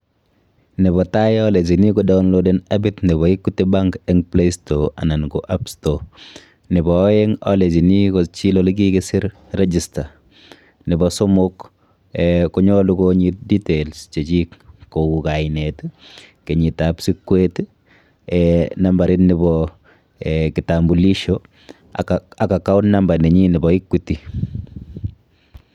Nepo tai alechini kodownloden appit nepo Equity bank eng playstore anan ko appstore. Nepo aeng alechini kochil olikikisir register. Nepo somok eh konyolu konyit details chechik kou kainet, kenyitap sikwet, eh nambarit nepo eh kitambulisho, ak account nenyi nepo Equity.